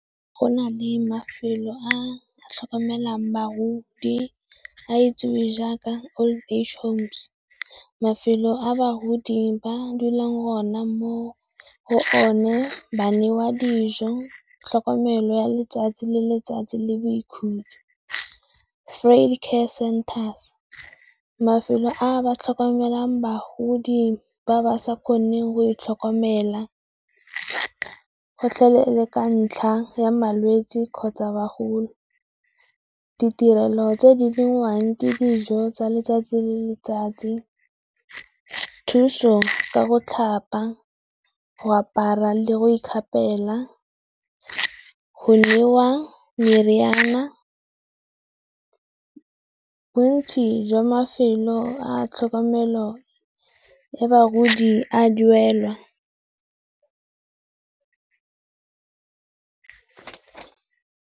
Go na le mafelo a tlhokomelang bagodi a itsiwe jaaka Old Age Home. Mafelo a bagodi ba dulang gona mo go o ne ba newa dijo, tlhokomelo ya letsatsi le letsatsi le boikhutso. Care Centers, mafelo a ba tlhokomelang bagodi ba ba sa kgoneng go itlhokomela gotlhelele ka ntlha ya malwetsi kgotsa bogolo. Ditirelo tse di ntshiwang ke dijo tsa letsatsi le letsatsi, thuso ka go tlhapa, go apara le go ikgapela, go newa meriana. Bontsi jwa mafelo a tlhokomelo ya bagoti a duelwa.